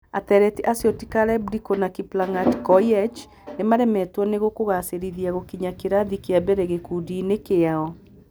Atleti acio ti Caleb Ndiku na Kiplangat Koiech, nĩ maremetwo ni kũgaacĩra gũkinya kĩrathi kĩa mbere gĩkundi-inĩ kĩao.